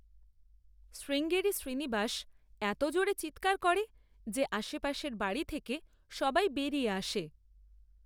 শ্রীঙ্গেরি শ্রীনিবাস এত জোরে চিৎকার করে যে আশেপাশের বাড়ি থেকে সবাই বেরিয়ে আসে।